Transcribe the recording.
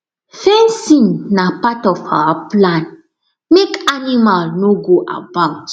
fencing na part of our plan make animal no go about